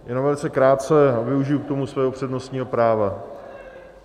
Jenom velice krátce a využiji k tomu svého přednostního práva.